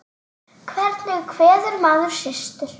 Hvernig kveður maður systur?